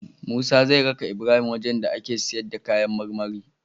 Musa zai raka Ibrahim wajan da ake siyar da kayan marmari